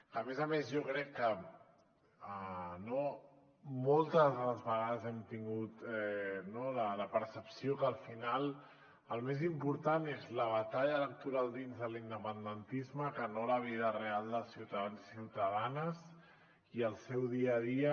a més a més jo crec que moltes de les vegades hem tingut la percepció que al final el més important és la batalla electoral dins de l’independentisme que no la vida real dels ciutadans i ciutadanes i el seu dia a dia